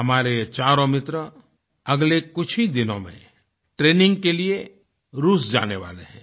हमारे चारों मित्र अगले कुछ ही दिनों में ट्रेनिंग के लिए रूस जाने वाले हैं